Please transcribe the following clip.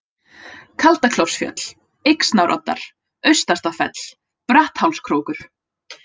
Kaldaklofsfjöll, Yxnároddar, Austastafell, Bratthálskrókur